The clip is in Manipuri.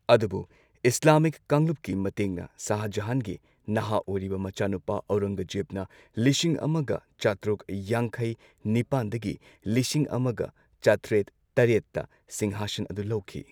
ꯑꯗꯨꯕꯨ ꯏꯁ꯭ꯂꯥꯃꯤꯛ ꯀꯥꯡꯂꯨꯞꯀꯤ ꯃꯇꯦꯡꯅ ꯁꯥꯍ ꯖꯍꯥꯟꯒꯤ ꯅꯍꯥ ꯑꯣꯏꯔꯤꯕ ꯃꯆꯥꯅꯨꯄꯥ ꯑꯣꯔꯪꯒꯖꯦꯕꯅ ꯂꯤꯁꯤꯡ ꯑꯃꯒ ꯆꯥꯇ꯭ꯔꯨꯛ ꯌꯥꯡꯈꯩ ꯅꯤꯄꯥꯟ ꯗꯒꯤ ꯂꯤꯁꯤꯡ ꯑꯃꯒ ꯆꯥꯇ꯭ꯔꯦꯠ ꯇꯔꯦꯠꯇ ꯁꯤꯡꯍꯥꯁꯟ ꯑꯗꯨ ꯂꯧꯈꯤ꯫